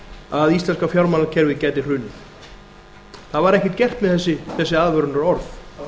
að íslenska fjármálakerfið gæti hrunið það var ekkert gert með þessi aðvörunarorð